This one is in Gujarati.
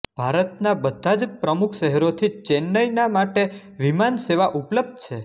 ભારતનાં બધાં જ પ્રમુખ શહેરોથી ચૈન્નાઈના માટે વિમાન સેવા ઉપલબ્ધ છે